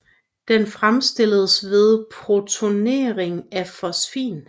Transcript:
Den fremstilles ved protonering af fosfin